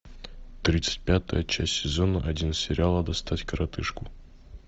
тридцать пятая часть сезона один сериала достать коротышку